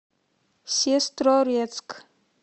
сестрорецк